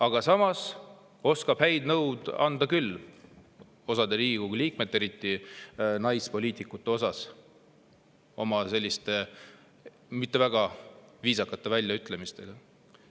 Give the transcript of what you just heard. Aga samas oskab head nõu anda küll ja osa Riigikogu liikmete, eriti naispoliitikute kohta mitte väga viisakate väljaütlemistega.